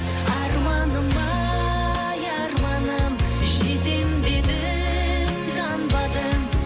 арманым ай арманым жетем дедің танбадың